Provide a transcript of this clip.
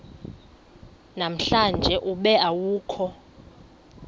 namhlanje ube awukho